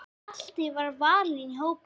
Hjalti var valinn í hópinn.